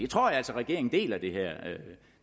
tror altså at regeringen deler det